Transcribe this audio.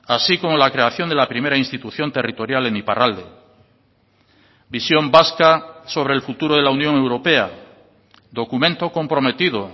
así como la creación de la primera institución territorial en iparralde visión vasca sobre el futuro de la unión europea documento comprometido